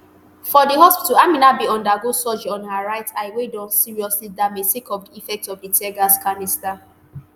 for di hospital aminat bin undergo surgery on her right eye wey don seriously damage sake of di effect of di teargas canister